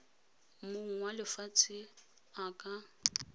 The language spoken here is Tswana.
mong wa lefatshe a ka